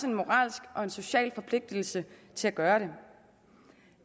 en moralsk og social forpligtelse til at gøre det